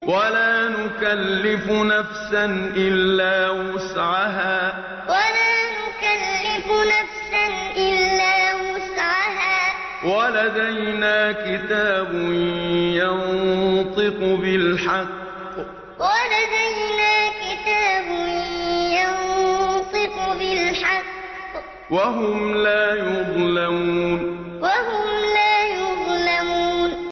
وَلَا نُكَلِّفُ نَفْسًا إِلَّا وُسْعَهَا ۖ وَلَدَيْنَا كِتَابٌ يَنطِقُ بِالْحَقِّ ۚ وَهُمْ لَا يُظْلَمُونَ وَلَا نُكَلِّفُ نَفْسًا إِلَّا وُسْعَهَا ۖ وَلَدَيْنَا كِتَابٌ يَنطِقُ بِالْحَقِّ ۚ وَهُمْ لَا يُظْلَمُونَ